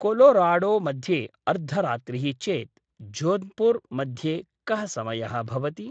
Colorado मध्ये अर्धरात्रिः चेत् जोध्पूर् मध्ये कः समयः भवति?